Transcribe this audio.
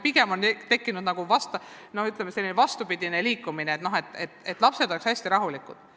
Pigem on tekkinud selline vastupidine liikumine, et lapsed oleksid hästi rahulikud.